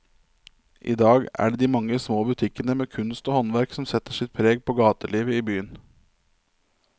I dag er det de mange små butikkene med kunst og håndverk som setter sitt preg på gatelivet i byen.